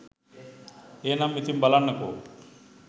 එහෙනම් ඉතින් බලන්නකො